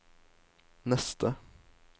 neste